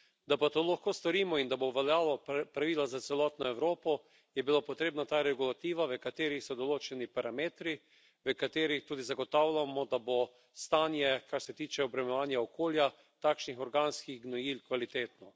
Da pa to lahko storimo in da bo veljalo pravilo za celotno Evropo, je bila potrebna ta regulativa, v kateri so določeni parametri, v katerih tudi zagotavljamo, da bo stanje, kar se tiče obremenjevanja okolja, takšnih organskih gnojil kvalitetno.